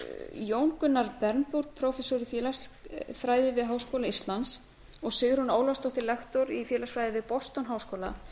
jón gunnar bernburg prófessor í félagsfræði við háskóla íslands og sigrún ólafsdóttir lektor í félagsfræði við boston háskóla